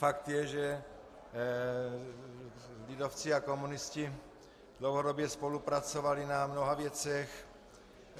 Fakt je, že lidovci a komunisti dlouhodobě spolupracovali na mnoha věcech.